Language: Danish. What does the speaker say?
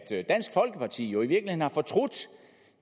dansk folkeparti jo i virkeligheden har fortrudt